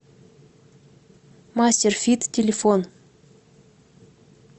мастер фит телефон